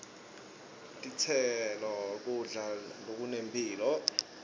titselo kudla lokunemphilo